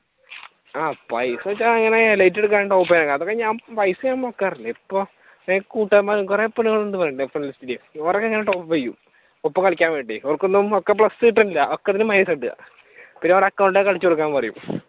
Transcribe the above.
ആഹ് പൈസാന്ന് വെച്ചാ അങ്ങനെ elite എടുക്കാൻ അതൊക്കെ ഞാൻ പൈസ ഞാൻ മുടക്കാറില്ല ഇപ്പൊ എന്റെ കൂട്ടുകാരന്മാർ കൊറെയൊക്കെ ഞാൻ top up ചെയ്യും ഇപ്പൊ കളിയ്ക്കാൻ വേണ്ടി അവർക്കൊന്നും plus കിട്ടില്ല അക്കറിന് minous ഉണ്ട് പിന്നെ അവർ account ഒക്കെ അടിച്ചുകൊടുക്കാൻ പറയും